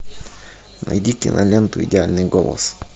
найди киноленту идеальный голос